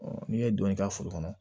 n'i ye donni k'a foro kɔnɔ